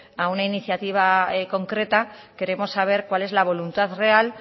a una iniciativa concreta queremos saber cuál es la voluntad real